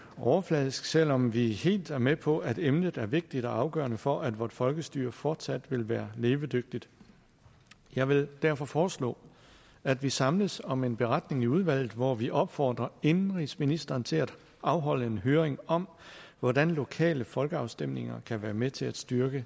overfladisk selv om vi er helt med på at emnet er vigtigt og afgørende for at vort folkestyre fortsat vil være levedygtigt jeg vil derfor foreslå at vi samles om en beretning i udvalget hvor vi opfordrer indenrigsministeren til at afholde en høring om hvordan lokale folkeafstemninger kan være med til at styrke